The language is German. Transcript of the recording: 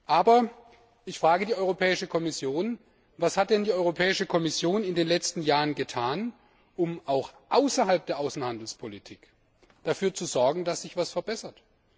Aber ich frage die Europäische Kommission Was hat denn die Europäische Kommission in den letzten Jahren getan, um auch außerhalb der Außenhandelspolitik dafür zu sorgen, dass sich etwas verbessert?